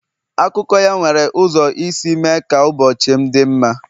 Akụkọ ya nwere ụzọ isi mee ka ụbọchị m dị mma.